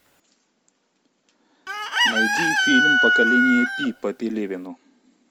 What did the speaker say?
найди фильм поколение пи по пелевину